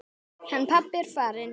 Hann pabbi er farinn.